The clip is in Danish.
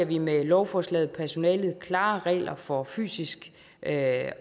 vi med lovforslaget personalet klare regler for fysisk at